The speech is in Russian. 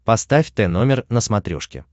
поставь тномер на смотрешке